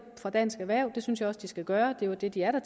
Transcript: fra dansk erhverv det synes jeg også de skal gøre det er jo det de er der